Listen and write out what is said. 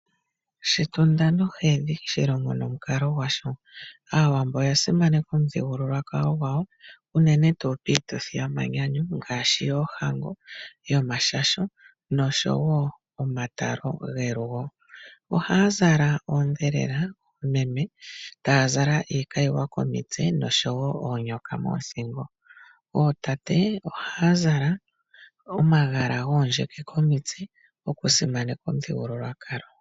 Shitunda nohedhi, shilongo nomukalo gwasho. Aawambo oya simaneka omuthigululwakalo gwawo unene tuu piituthi yomanyanyu ngaashi: yoohango, yomashasho noshowoo omatalo gelugo. Ohaa zala oondhelela meme taazala iikayiwa komitse oshowoo oonyoka moothingo. Ootate ohaa zala omagala goondjeke komitse okusimaneka omuthigululwakalo.